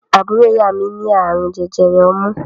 Àbúrò ìyá mi ní àrùn jẹjẹrẹ ọmú.